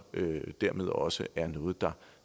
dermed også er noget der